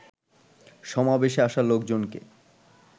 সমাবেশে আসা লোকজনকে